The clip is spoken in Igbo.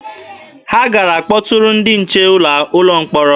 Ha gara kpọtụrụ ndị nche ụlọ mkpọrọ.